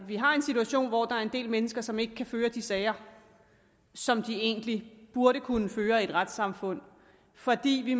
vi har en situation hvor der er en del mennesker som ikke kan føre de sager som de egentlig burde kunne føre i et retssamfund fordi vi